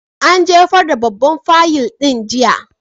An jefar da babban fayil ɗin jiya.